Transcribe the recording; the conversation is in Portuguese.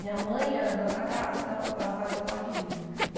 Minha mãe era dona da casa, então ela fazia o que ela queria.